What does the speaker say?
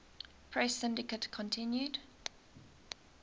press syndicate continued